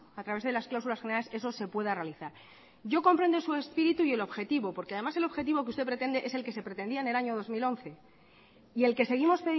a través de las cláusulas generales eso se pueda realizar yo comprendo su espíritu y el objetivo porque además el objetivo que usted pretende es el que se pretendía en el año dos mil once y el que seguimos